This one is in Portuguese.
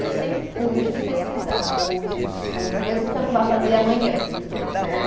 Eu sempre fui muito de pesquisar cursos, essas coisas, mesmo que eu não vá fazer amanhã, né?